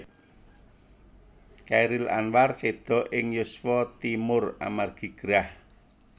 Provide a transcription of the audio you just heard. Chairil Anwar séda ing yuswa timur amargi gerah